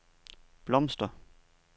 blomster